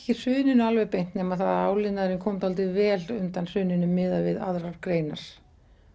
hruninu alveg beint nema það að áliðnaðurinn kom dálítið vel undan hruninu miðað við aðrar greinar